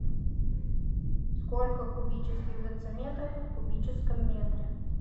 сколько кубических дециметров в кубическом метре